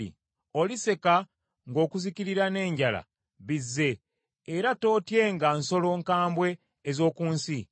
Oliseka ng’okuzikirira n’enjala bizze, era tootyenga nsolo nkambwe ez’oku nsi.